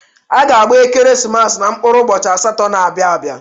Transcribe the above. A ga-gba Ekeresimesi na mkpụrụ ụbọchị asatọ na-abịa abịa.